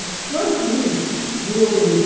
Estou aqui. O